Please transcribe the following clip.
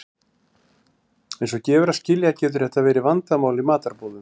Eins og gefur að skilja getur þetta verið vandamál í matarboðum.